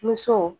Muso